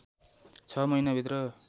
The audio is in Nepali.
छ महिनाभित्र